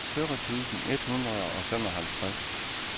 fyrre tusind et hundrede og femoghalvtreds